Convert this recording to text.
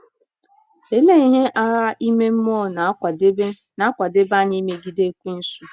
Olee ihe agha ime um mmụọ na-akwadebe na-akwadebe anyị imegide Ekwensu?